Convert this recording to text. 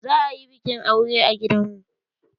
Za ayi bikin aure a gidan mu.